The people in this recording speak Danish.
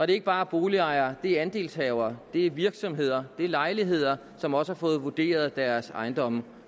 ikke bare boligejere det er andelshavere det er virksomheder det er lejere som også har fået vurderet deres ejendomme